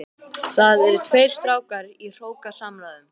Þar eru tveir strákar í hrókasamræðum.